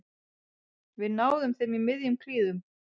Við náðum þeim í miðjum klíðum